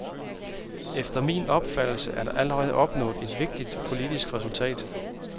Efter min opfattelse er der allerede opnået et vigtigt, politisk resultat.